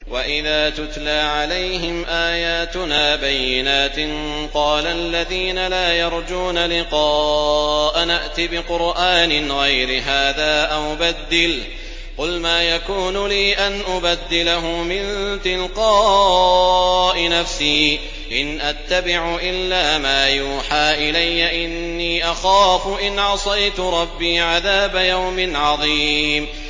وَإِذَا تُتْلَىٰ عَلَيْهِمْ آيَاتُنَا بَيِّنَاتٍ ۙ قَالَ الَّذِينَ لَا يَرْجُونَ لِقَاءَنَا ائْتِ بِقُرْآنٍ غَيْرِ هَٰذَا أَوْ بَدِّلْهُ ۚ قُلْ مَا يَكُونُ لِي أَنْ أُبَدِّلَهُ مِن تِلْقَاءِ نَفْسِي ۖ إِنْ أَتَّبِعُ إِلَّا مَا يُوحَىٰ إِلَيَّ ۖ إِنِّي أَخَافُ إِنْ عَصَيْتُ رَبِّي عَذَابَ يَوْمٍ عَظِيمٍ